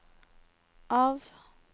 av